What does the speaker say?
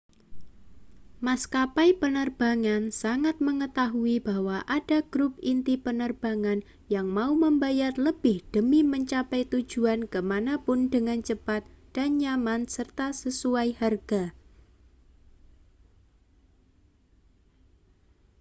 maskapai penerbangan sangat mengetahui bahwa ada grup inti penerbang yang mau membayar lebih demi mencapai tujuan ke mana pun dengan cepat dan nyaman serta sesuai harga